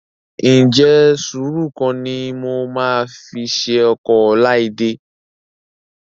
Ǹjẹ́ sùúrù kọ́ ni mo máa fi ṣe ọkọ Ọláídé?